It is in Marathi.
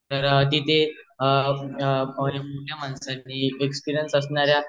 तर ठी थे पोरीना माणसांनी एक एक्सपिरियन्स असणार्या